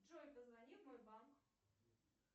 джой позвони в мой банк